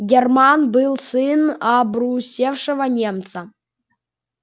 германн был сын обрусевшего немца